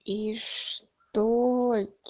и что